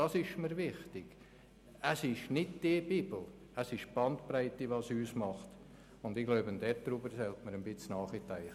Es ist mir wichtig, dass in einer gewissen Bandbreite diskutiert werden kann.